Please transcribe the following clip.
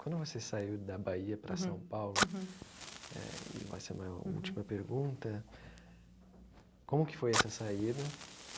Quando você saiu da Bahia para São Paulo, eh e vai ser minha última pergunta, como que foi essa saída?